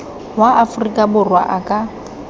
wa aforika borwa a ka